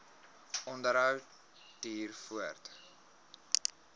onderhou duur voort